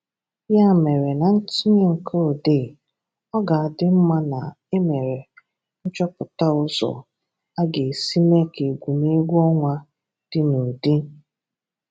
Ya mere, na ntùnye nke ọ̀dee, ọ ga-adị mma na e mere nchọpụta ụzọ a ga-esi mee ka egwè̩mgwè̩ ọnwa dị n’ụdị…